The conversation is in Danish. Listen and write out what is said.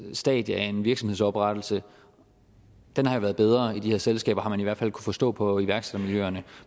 stadie af en virksomhedsoprettelse har været bedre i de her selskaber har man i hvert fald forstå på iværksættermiljøerne